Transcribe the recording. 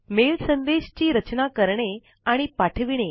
mail संदेश ची रचना करणे आणि पाठविणे